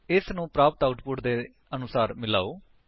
ਇਸਨੂੰ ਪ੍ਰਾਪਤ ਆਉਟਪੁਟ ਦੇ ਅਨੁਸਾਰ ਮਿਲਾਓ